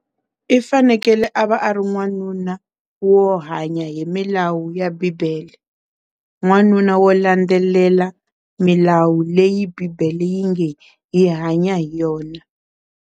I fanekele a va a ri n'wanuna wo hanya hi milawu ya bibele n'wanuna wo landzelela milawu leyi bibele yi nge hi hanya hi yona.